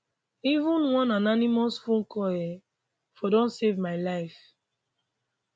even one anonymous phone call um for don save my life